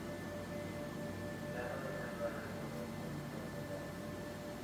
Dhano e ma dwarore mondo okony nyuol maber.